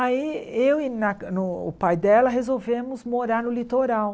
Aí eu e na no o pai dela resolvemos morar no litoral.